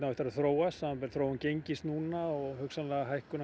eftir að þróast samanber þróun gengis núna og hugsanlega hækkun